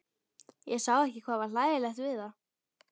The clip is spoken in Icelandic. Ég sá ekki hvað var hlægilegt við það.